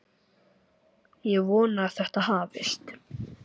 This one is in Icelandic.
Ég vona að þetta hafist.